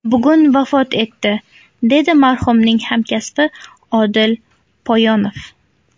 Bugun vafot etdi”, dedi marhumning hamkasbi Odil Poyonov.